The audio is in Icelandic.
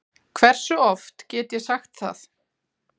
Hversu oft get ég sagt það?